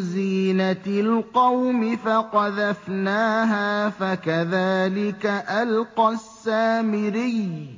زِينَةِ الْقَوْمِ فَقَذَفْنَاهَا فَكَذَٰلِكَ أَلْقَى السَّامِرِيُّ